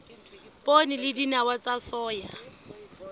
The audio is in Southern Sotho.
poone le dinawa tsa soya